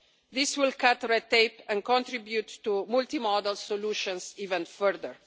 This will cut red tape and contribute to multimodal solutions even further.